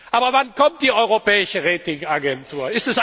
Aber wann kommt die Europäische Ratingagentur?